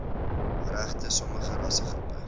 regte sommige rassegroepe